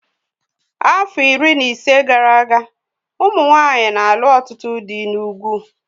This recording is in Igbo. Afọ iri ise na ise gara aga, ụmụ nwanyị na-alụ ọtụtụ dị n'ugwu